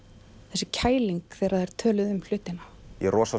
þessi kæling þegar þær töluðu um hlutina ég